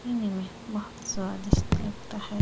पीने में बहोत स्वादिष्ट लगता है।